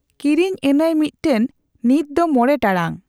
ᱠᱤᱨᱤᱧ ᱟ.ᱧᱟᱭ ᱢᱤᱫᱴᱟᱝ ᱾ᱱᱤᱛ ᱫᱚ ᱢᱚᱬᱮ ᱴᱟᱲᱟᱝ᱾